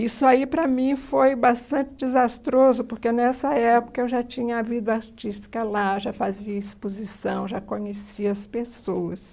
Isso aí, para mim, foi bastante desastroso, porque nessa época eu já tinha a vida artística lá, já fazia exposição, já conhecia as pessoas.